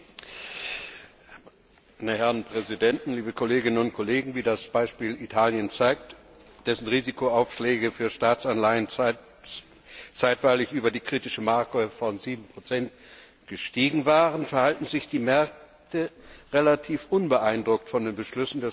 Meine Herren Präsidenten, liebe Kolleginnen und Kollegen! Wie das Beispiel Italien zeigt, dessen Risikoaufschläge für Staatsanleihen zeitweilig über die kritische Marke von 7 gestiegen waren, verhalten sich die Märkte relativ unbeeindruckt von den Beschlüssen des letzten europäischen Gipfels.